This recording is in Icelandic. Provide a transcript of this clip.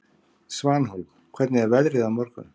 Svanhólm, hvernig er veðrið á morgun?